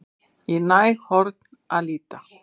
Í næg horn að líta